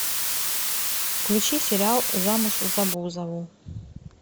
включи сериал замуж за бузову